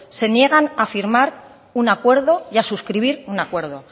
se niegan a firmar un acuerdo y a subscribir un acuerdo